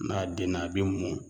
N'a denna a bɛ mɔ